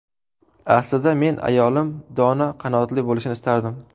Aslida, men ayolim dono, qanoatli bo‘lishini istardim.